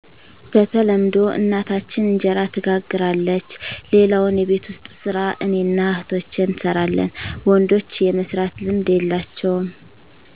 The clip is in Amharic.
በተለምዶ እናታችን እንጀራ ትጋግራለች ሌላውን የቤት ውስጥ ሰራ እኔና እህቶቸ እንሰራለን ወንዶች የመስራት ልምድ የላቸውም